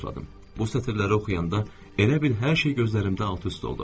Bu sətirləri oxuyanda elə bil hər şey gözlərimdə alt-üst oldu.